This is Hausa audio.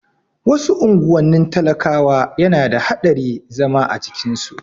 Wasu unguwannin talakawa yana da haɗari zama a cikin su